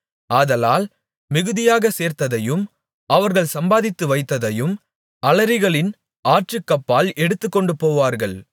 ஆதலால் மிகுதியாகச் சேர்த்ததையும் அவர்கள் சம்பாதித்து வைத்ததையும் அலரிகளின் ஆற்றுக்கப்பால் எடுத்துக்கொண்டுபோவார்கள்